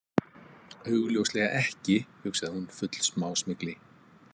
Augljóslega ekki, hugsaði hún full smásmygli.